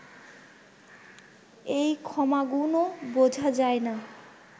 এই ক্ষমাগুণও বুঝা যায় না